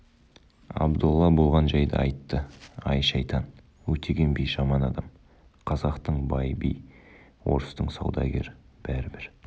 абдолла болған жайды айтты ай шайтан өтеген би жаман адам қазақтың бай би орыстың саудагері бәрі бір